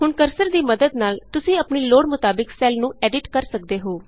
ਹੁਣ ਕਰਸਰ ਦੀ ਮੱਦਦ ਨਾਲ ਤੁਸੀਂ ਆਪਣੀ ਲੋੜ ਮੁਤਾਬਿਕ ਸੈੱਲ ਨੂੰ ਐਡਿਟ ਕਰ ਸਕਦੇ ਹੋ